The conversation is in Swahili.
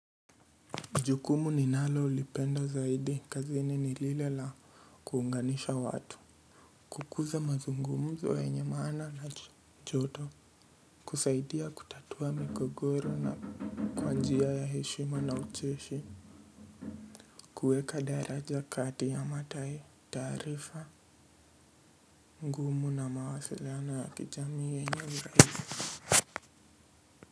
Jukumu ninalo lipenda zaidi kazini nilile la kuunganisha watu. Kukuza mazungumzo yenye maana na joto kusaidia kutatua mikogogoro na kwa njia ya heshima na ucheshi kuweka daraja kati ya mataye taarifa ngumu na mawasiliano ya kijamii yenye uraisi.